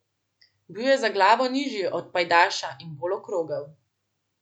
Bil je za glavo nižji od pajdaša in bolj okrogel.